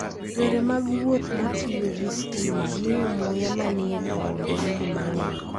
Yore mag wuoth ma tiyo gi stima miyo muya manie taonde bedo mang'eny.